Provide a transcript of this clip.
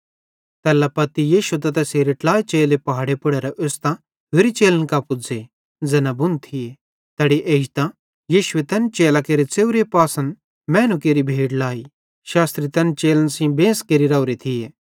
तैल्ला पत्ती यीशु त तैसेरे ट्लाइ चेले पहाड़े पुड़ेरां ओस्तां होरि चेलन कां पुज़्ज़े ज़ैना बुण थिये तैड़ी एजतां यीशुए तैन चेलन केरे च़ेव्रे पासन मैनू केरि बड़ी भीड़ लाई शास्त्री तैन चेलन सेइं बेंस केरि राओरे थिये